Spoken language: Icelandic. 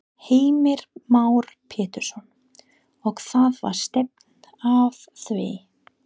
Heimir Már Pétursson: Og það var stefnt að því?